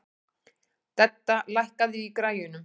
Dedda, lækkaðu í græjunum.